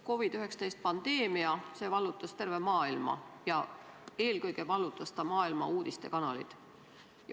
COVID-19 pandeemia vallutas terve maailma ja eelkõige vallutas see maailma uudistekanalid.